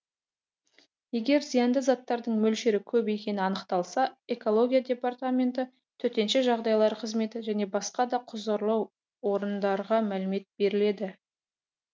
егер зиянды заттардың мөлшері көп екені анықталса экология департаменті төтенше жағдайлар қызметі және басқа да құзырлы орындарға мәлімет беріледі